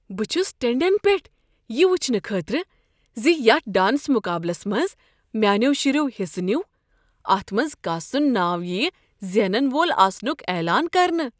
بہٕ چھس ٹینٛڈین پیٹھ یہ وٕچھنہٕ خٲطرٕ ز یتھ ڈانس مقابلس منز میانیو شریو حصہٕ نیُو، اتھ منٛز کس سنٛد ناو ییہِ زینن وول آسنک اعلان کرنہٕ۔